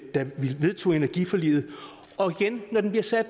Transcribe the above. da vi vedtog energiforliget og igen når den bliver sat